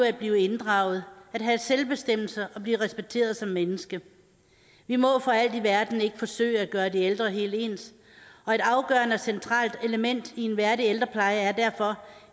at blive inddraget at have selvbestemmelse og blive respekteret som menneske vi må for alt i verden ikke forsøge at gøre de ældre helt ens og et afgørende centralt element i en værdig ældrepleje er derfor